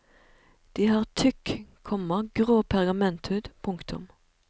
De har tykk, komma grå pergamenthud. punktum